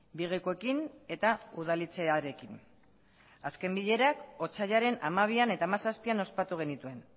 bigekoeekin eta udaletxearekin azken bilerak otsailaren hamabian eta hamazazpian ospatu genituen